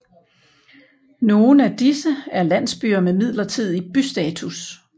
Nogen af disse er landsbyer med midlertidig bystatus